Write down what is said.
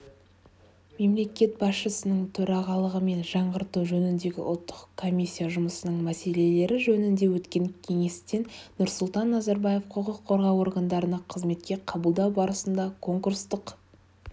мемлекет басшысының төрағалығымен жаңғырту жөніндегі ұлттық комиссия жұмысының мәселелері жөнінде өткен кеңестенұрсұлтан назарбаев құқық қорғау органдарына қызметке қабылдау барысында конкурстық